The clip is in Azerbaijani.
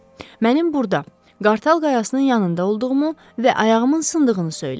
Mənim burda Qartal Qayasının yanında olduğumu və ayağımın sındığını söylə.